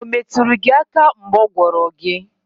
Ometulu gi aka mgeb ogworo gi?